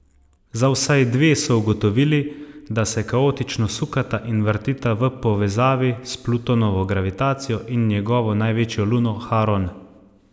Za vsaj dve so ugotovili, da se kaotično sukata in vrtita v povezavi s Plutonovo gravitacijo in njegovo največjo luno Haron.